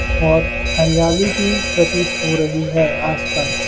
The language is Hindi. और हरियाली भी प्रतीत हो रही है आस पास |